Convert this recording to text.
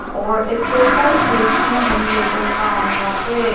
और exercise machine भी नजर आ रहा है।